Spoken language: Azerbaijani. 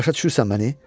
Başa düşürsən məni?